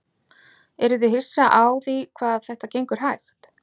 Eruð þið hissa á því hvað þetta gengur hægt?